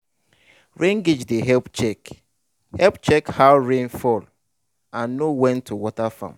rain gauge dey help check help check how rain fall and know when to water farm.